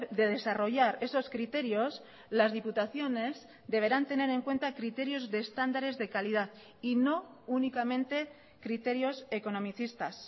de desarrollar esos criterios las diputaciones deberán tener en cuenta criterios de estándares de calidad y no únicamente criterios economicistas